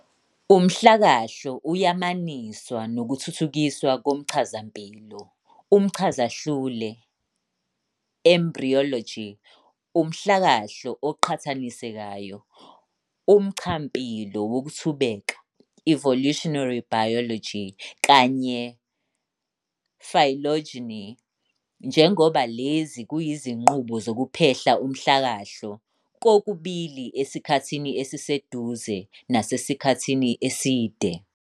Umhlakahlo uyamaniswa nokuthuthukiswa komchazampilo, umchazahlule "embryology", umhlakahlo oqhathanisekayo, umchampilo wokuthubeka "evolutionary biology", kanye phylogeny, njengoba lezi kuyizinqubo zokuphehla umhlakahlo, kokubili esikhathini esiseduze nasasikhathini eside.